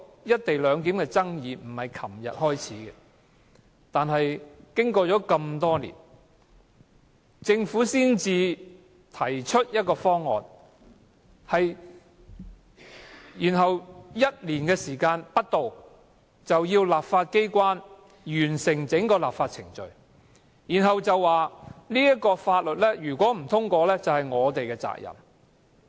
"一地兩檢"的爭議並非始於昨天，但政府經過多年才提出方案，然後要求立法機關在1年內完成整個立法程序，並指《條例草案》若不獲通過，就是立法機關的責任。